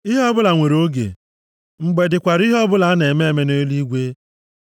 Ihe ọbụla nwere oge; mgbe dịkwara ihe ọbụla a na-eme eme nʼeluigwe.